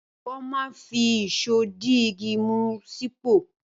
Wọ́n máa ń fi ìṣó di igi mú sípò.